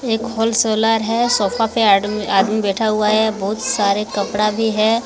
एक होलसेलर है सोफा पे आडमि आदमी बैठा हुआ है बहुत सारे कपड़ा भी है।